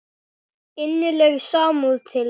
Innileg samúð til ykkar.